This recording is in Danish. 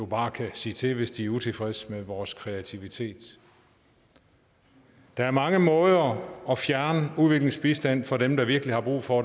bare kan sige til hvis de er utilfredse med vores kreativitet der er mange måder at fjerne udviklingsbistand fra dem der virkelig har brug for